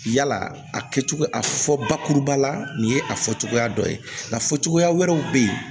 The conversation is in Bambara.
Yala a kɛcogo a fɔ bakuruba la nin ye a fɔ cogoya dɔ ye nka fɔ cogoya wɛrɛw be yen